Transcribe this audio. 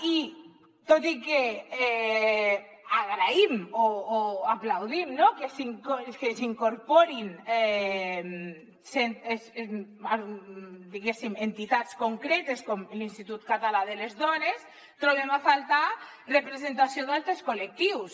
i tot i que agraïm o aplaudim no que s’hi incorporin diguéssim entitats concretes com l’institut català de la dona hi trobem a faltar representació d’altres col·lectius